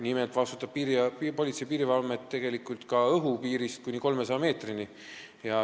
Nimelt vastutab Politsei- ja Piirivalveamet tegelikult ka õhupiiri eest, kuni 300 meetri kõrguseni.